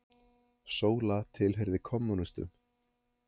Sóla tilheyrði kommúnistum.